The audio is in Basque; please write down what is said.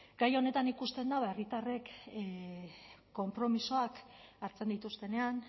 gai honetan ikusten da herritarrek konpromisoak hartzen dituztenean